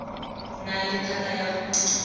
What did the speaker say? nang le thata ya go